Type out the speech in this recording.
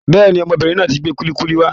Bẹ́ẹ̀ni, ọmọbìnrin náà tí gbé kulikuli wá.